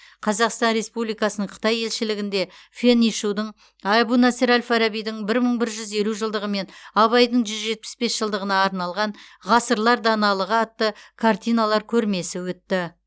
қазақстан республикасының қытай елшілігінде фэн ишудың әбу насыр әл фарабидің бір мың бір жүз елу жылдығы мен абайдың жүз жетпіс бес жылдығына арналған ғасырлар даналығы атты картиналар көрмесі өтті